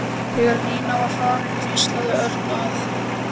Þegar Nína var farin hvíslaði Örn að